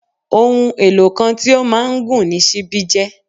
Ohun-èlò kan tí ó máa ń gùn ni ṣíbí jẹ́